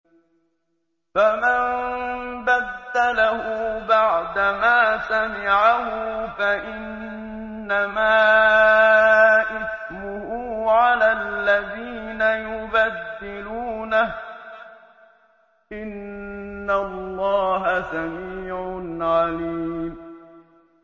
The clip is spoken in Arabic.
فَمَن بَدَّلَهُ بَعْدَمَا سَمِعَهُ فَإِنَّمَا إِثْمُهُ عَلَى الَّذِينَ يُبَدِّلُونَهُ ۚ إِنَّ اللَّهَ سَمِيعٌ عَلِيمٌ